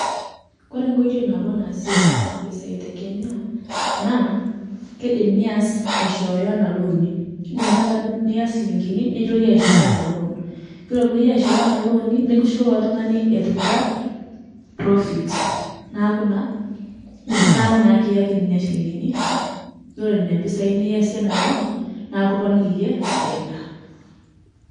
Koree nkoitoi nabo nasieki mpisai te kenya na kidim nias aishooyo ana loani, indim taata nias nchilingini nilo iyie aishooyo ana loan , nilo iyie aishooyo ana loani nikishukoki ilotungani etipika proffit neaku ekiyaki na nona shilingini ore na mpisai niyasie enaloan na ekiponiki iyie faida.